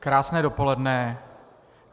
Krásné dopoledne.